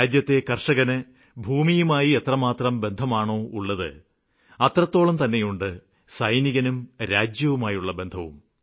രാജ്യത്തെ കര്ഷകന് ഭൂമിയുമായി എത്രമാത്രം ബന്ധമാണോ ഉള്ളത് അത്രത്തോളം തന്നെയുണ്ട് സൈനികനും രാജ്യവുമായുള്ള ബന്ധവും